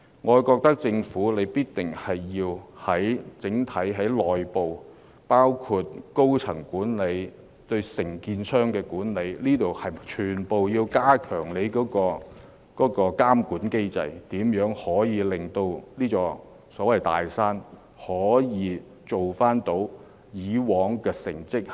我覺得政府必須從港鐵公司內部運作入手，包括管理層表現、承建商管理等方面來加強對港鐵公司的監管，令這座"大山"取得以往的成績，再次成為實行高質素管理的機構。